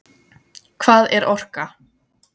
Hvað er orka?